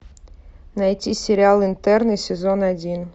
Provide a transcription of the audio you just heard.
найти сериал интерны сезон один